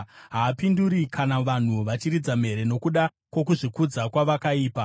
Haapinduri kana vanhu vachiridza mhere, nokuda kwokuzvikudza kwavakaipa.